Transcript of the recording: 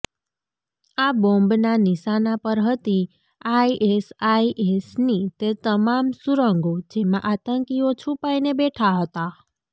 આ બોમ્બના નિશાના પર હતી આઇએસઆઇએસની તે તમામ સુરંગો જેમાં આતંકીઓ છુપાઇને બેઠા હતા